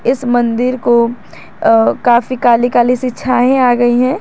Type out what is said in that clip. इस मंदिर को अ काफी काली काली सी छाएं आ गई हैं।